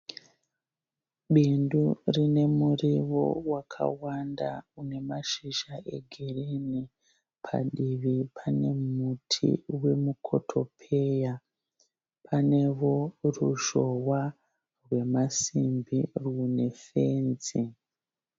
Bindu rine muriwo wakawanda unemashizha egirini, padivi pane muti wemukotopeya. Panewo ruzhohwa rwemasimbi rwuine fenzi.